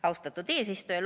Austatud eesistuja!